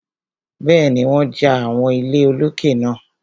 Bẹ́ẹ̀ni, wọ́n ja àwọn ilé olókè náà.